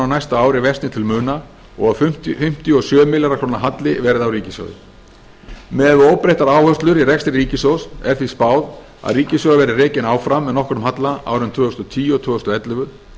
næsta ári versni til muna og að fimmtíu og sjö milljarða króna halli verði á ríkissjóði miðað við óbreyttar áherslur í rekstri ríkissjóðs er því spáð að ríkissjóður verði rekinn áfram með nokkrum halla árin tvö þúsund og tíu og tvö þúsund og ellefu